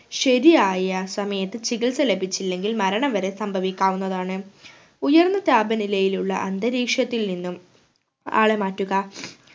ശരിയായ സമയത്തു ചികിത്സ ലഭിച്ചില്ലെങ്കിൽ മരണം വരെ സംഭവിക്കാവുന്നതാണ് ഉയർന്ന താപനിലയിലുള്ള അന്തരീക്ഷത്തിൽ നിന്നും ആളെ മാറ്റുക